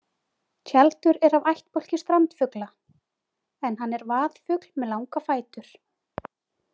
Tjaldur er af ættbálki strandfugla en hann er vaðfugl með langa fætur.